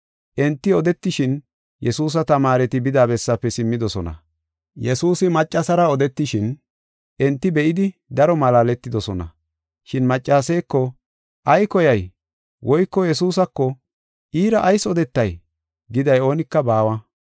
Enti odetishin, Yesuusa tamaareti bida bessaafe simmidosona. Yesuusi maccasara odetishin enti be7idi daro malaaletidosona. Shin maccaseeko, “Ay koyay?” Woyko Yesuusako, “Iira ayis odetay?” giday oonika baawa.